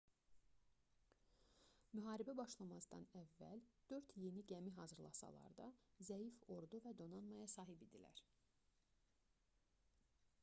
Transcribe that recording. müharibə başlamazdan əvvəl dörd yeni gəmi hazırlasalar da zəif ordu və donanmaya sahib idilər